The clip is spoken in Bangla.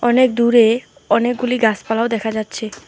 অনেক দূরে অনেকগুলি গাসপালাও দেখা যাচ্ছে।